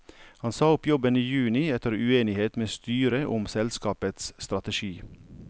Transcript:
Han sa opp jobben i juni etter uenighet med styret om selskapets strategi.